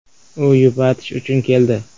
U yupatish uchun keldi.